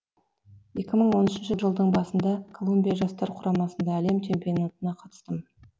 екі мың он үшінші жылдың басында колумбия жастар құрамасында әлем чемпионатына қатыстым